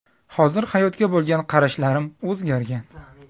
Hozir hayotga bo‘lgan qarashlarim o‘zgargan.